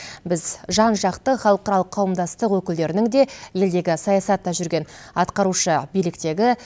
біз жан жақты халықаралық қауымдастық өкілдерінің де елдегі саясатта жүрген атқарушы биліктегі